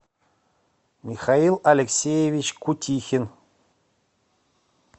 михаил алексеевич кутихин